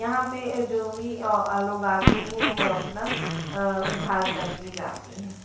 यहां पे अह जो भी अह लोग आती हैं वो अपना अह उद्धार करके जाती हैं।